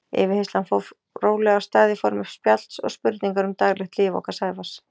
Yfirheyrslan fór rólega af stað í formi spjalls og spurninga um daglegt líf okkar Sævars.